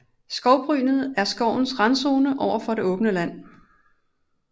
Skovbrynet er skovens randzone over for det åbne land